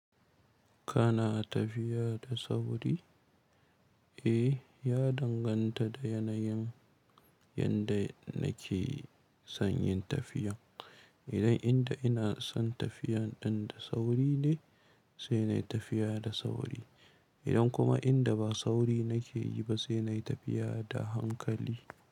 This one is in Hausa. Kana tafiya da sauri? Eh, ya danganta da yanayin yanda nake son yin tafiyan. Idan inda ina son tafiyan ɗin da sauri ne, sai na yi tafiya da sauri. Idan kuma inda ba sauri nake yi ba sai na yi tafiya da hankali.